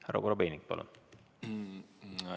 Härra Korobeinik, palun!